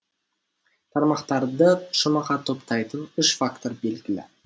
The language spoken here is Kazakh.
тармақтарды шумаққа топтайтын үш фактор белгілі